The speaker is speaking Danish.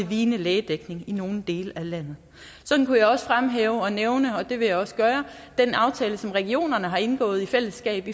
vigende lægedækning i nogle dele af landet sådan kunne jeg også fremhæve og nævne og det vil jeg også gøre den aftale som regionerne har indgået i fællesskab